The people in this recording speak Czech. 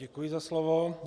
Děkuji za slovo.